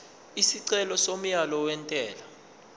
isicelo somyalo wentela